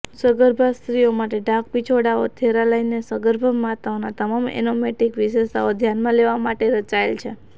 સગર્ભા સ્ત્રીઓ માટે ઢાંકપિછોડાઓ થેરાલાઇનને સગર્ભા માતાઓના તમામ એનાટોમિક વિશેષતાઓ ધ્યાનમાં લેવા માટે રચાયેલ છે